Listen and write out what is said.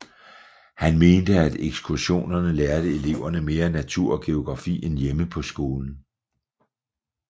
Han mente at ekskursionerne lærte eleverne mere natur og geografi end hjemme på skolen